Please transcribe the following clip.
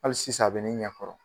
Hali sisan a bɛ ne ɲa kɔrɔ